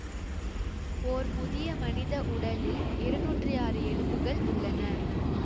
ஓர் முதிய மனித உடலில் இருநூற்றி ஆறு எலும்புகள் உள்ளன